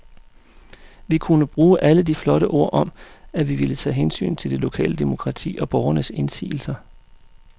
Vi kunne bruge alle de flotte ord om, at vi ville tage hensyn til det lokale demokrati og borgernes indsigelser.